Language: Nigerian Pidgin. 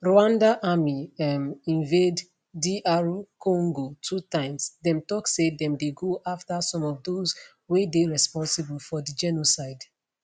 rwanda army um invade dr congo two times dem tok say dem dey go afta some of those wey dey responsible for di genocide